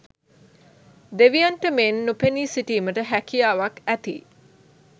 දෙවියන්ට මෙන් නොපෙනී සිටීමට හැකියාවක් ඇති,